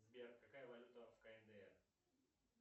сбер какая валюта в кндр